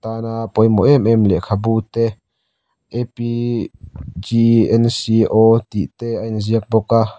tana pawimawh em em lehkhabu te a p g n c o tih te a inziak bawk a.